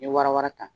N ye warawa ta